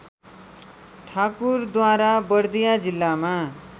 ठाकुरद्वारा बर्दिया जिल्लामा